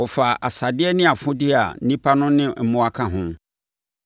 Wɔfaa asadeɛ ne afodeɛ a nnipa no ne mmoa ka ho.